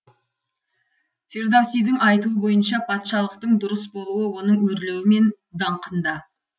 фирдоусидің айтуы бойынша патшалықтың дұрыс болуы оның өрлеуі мен даңқында